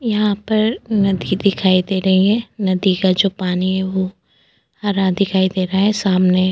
यहाँ पर नदी दिखाई दे रही है नदी का जो पानी है वो हरा दिखाई दे रहा है सामने --